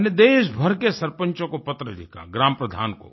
मैंने देश भर के सरपंचों को पत्र लिखा ग्राम प्रधान को